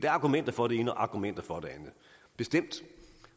argumenter for det ene og argumenter for det andet bestemt